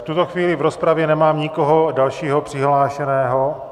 V tuto chvíli v rozpravě nemám nikoho dalšího přihlášeného.